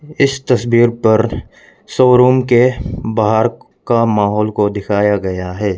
इस तस्वीर पर शोरूम के बाहर का माहौल को दिखाया गया है।